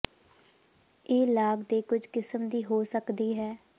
ਇਹ ਲਾਗ ਦੇ ਕੁਝ ਕਿਸਮ ਦੀ ਹੋ ਸਕਦੀ ਹੈ